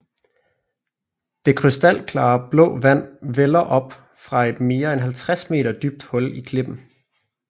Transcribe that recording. Det krystalklare blå vand vælder op fra et mere end 50 meter dybt hul i klippen